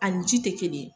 Ani ji tɛ kelen ye